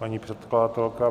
Paní předkladatelka.